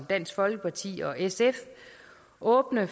dansk folkeparti og sf åbne